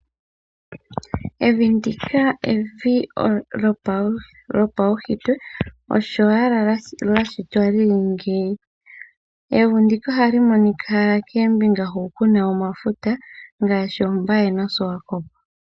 Evi ndika evi lyopaushitwe osho owala lyashitwa lyili ngeyi, evi ndika ohali monika koombinga hu kuna omafuta ngaashi oBay noSwakop.